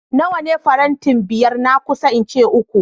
Nawane farantin biyar na kusa inci uku